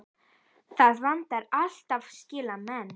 Það vantar alltaf slíka menn.